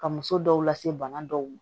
Ka muso dɔw lase bana dɔw ma